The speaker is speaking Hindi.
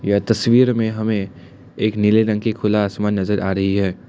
यह तस्वीर में हमें एक नीले रंग की खुला आसमान नजर आ रही है।